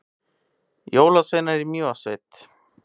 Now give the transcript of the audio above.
Jólasveinar í Mývatnssveit